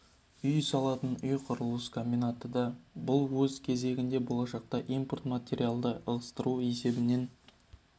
үй салатын ұй құрылыс комбинаты да бар бұл өз кезегінде болашақта импорт материалдарды ығыстыру есебінен